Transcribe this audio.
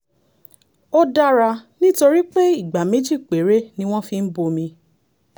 ó dára nítorí pé ìgbà méjì péré ni wọ́n fi ń bomi